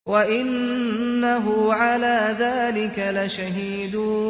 وَإِنَّهُ عَلَىٰ ذَٰلِكَ لَشَهِيدٌ